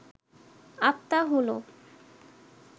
আত্মা হল